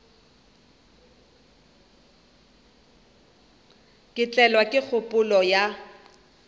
ka tlelwa ke kgopolo ya